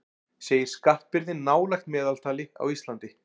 Segir skattbyrði nálægt meðaltali á Íslandi